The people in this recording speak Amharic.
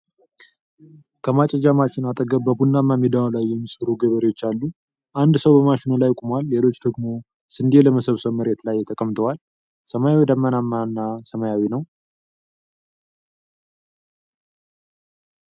ከማጨጃ ማሽን አጠገብ በቡናማ ሜዳ ላይ የሚሰሩ ገበሬዎች አሉ። አንድ ሰው በማሽኑ ላይ ቆሟል፣ ሌሎች ደግሞ ስንዴ ለመሰብሰብ መሬት ላይ ተቀምጠዋል። ሰማዩ ደመናማና ሰማያዊ ነው።